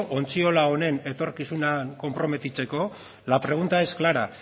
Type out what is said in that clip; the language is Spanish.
ontziola honen etorkizunean konprometitzeko la pregunta es clara